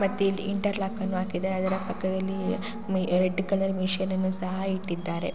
ಮತ್ತೆ ಇಲ್ಲಿ ಇಂಟರ್ಲಾಕ್ ಅನ್ನು ಹಾಕಿದ್ದಾರೆ ಅದರ ಪಕ್ಕದಲ್ಲಿ ರೆಡ್ ಕಲರ್ ಮಿಷಿನನ್ನು ಸಹ ಇಟ್ಟಿದ್ದಾರೆ.